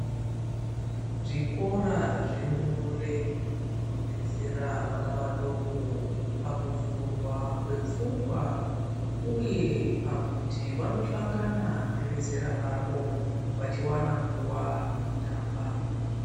Zvikora zve ndumure zvinodetsera vana vadoko pakuvhurwa kwefungwa uye pakuti vanohlongana nevezera ravo vachiwana nguva yekutamba.